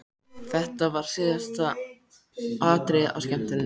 Þetta var síðasta atriðið á skemmtuninni!